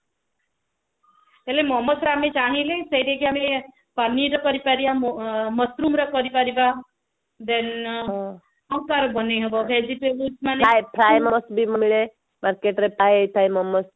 ହେଲେ ମୋମୋସ ରେ ଆମେ ଚାହିଁଲେ ସେଟା କି ଆମେ ପନିର ରେ କରି ପାରିବା mushroom ରେ କରି ପାରିବା then ଆଉ କାହାର ବନେଇ ହେବ vegetables ମାନେ